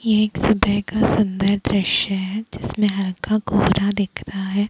ए एक सुबह का सुन्दर दृश्य है जिसमे हल्का कोहरा दिख रहा है।